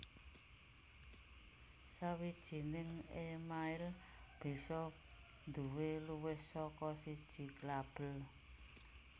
Sawijining email bisa nduwé luwih saka siji label